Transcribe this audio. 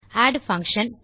add function